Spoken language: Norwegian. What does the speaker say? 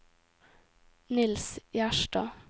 Niels Gjerstad